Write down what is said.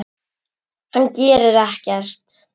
Hann gerir ekkert.